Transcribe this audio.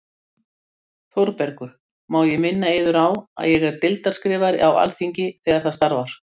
ÞÓRBERGUR: Má ég minna yður á að ég er deildarskrifari á Alþingi- þegar það starfar.